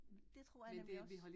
Det tror jeg nemlig også